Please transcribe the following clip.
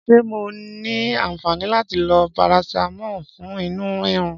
Ṣé mo ní aǹfàni láti lo parasitamọ fún inú rírun?